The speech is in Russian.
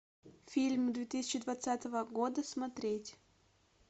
фильм две тысячи двадцатого года смотреть